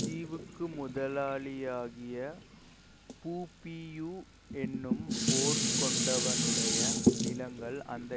தீவுக்கு முதலாளியாகிய புபியு என்னும் பேர்கொண்டவனுடைய நிலங்கள் அந்த